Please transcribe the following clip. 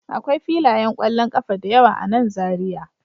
Akwai filayen kwallon kafa da yawa a nan Zariya